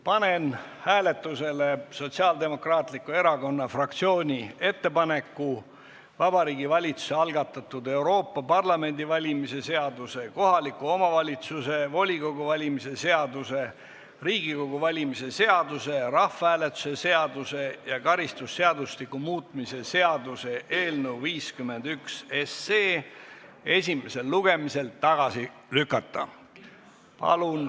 Panen hääletusele Sotsiaaldemokraatliku Erakonna fraktsiooni ettepaneku Vabariigi Valitsuse algatatud Euroopa Parlamendi valimise seaduse, kohaliku omavalitsuse volikogu valimise seaduse, Riigikogu valimise seaduse, rahvahääletuse seaduse ja karistusseadustiku muutmise seaduse eelnõu 51 esimesel lugemisel tagasi lükata.